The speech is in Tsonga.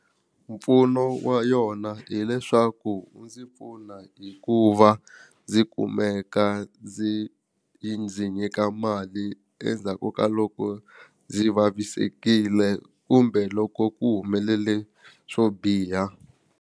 Mpfuno wa yona hileswaku wu ndzi pfuna hi ku va ndzi kumeka ndzi yi ndzi nyika mali endzhaku ka loko ndzi vavisekile kumbe loko ku humelele swo biha.